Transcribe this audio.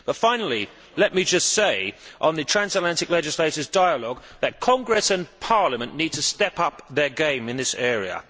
Finally, let me just say, on the transatlantic legislators' dialogue, that Congress and Parliament need to step up their game in this area.